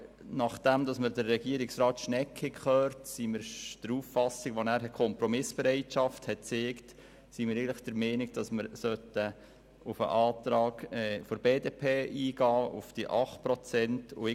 Nachdem wir Regierungsrat Schnegg gehört haben und weil er Kompromissbereitschaft signalisiert hat, sind wir der Meinung, es sei auf den Antrag der BDP betreffend die 8 Prozent einzugehen.